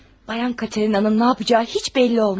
Xanım Katerinanın nə edəcəyi heç bəlli olmaz.